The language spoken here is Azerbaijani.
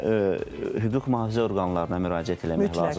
Və hüquq mühafizə orqanlarına müraciət eləmək lazımdır.